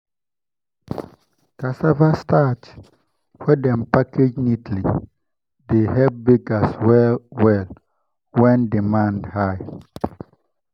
cassava starch wey dem package neatly dey help bakers well-well when demand high.